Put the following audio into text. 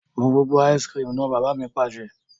Mu gbogbo "ice cream" náà! Bàbá mi Pàṣẹ.